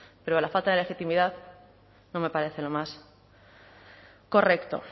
pero la falta de legitimidad no me parece lo más correcto